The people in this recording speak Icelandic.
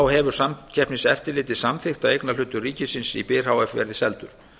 hefur samkeppniseftirlitið samþykkt að eignarhlutur ríkisins í byr h f verði seldur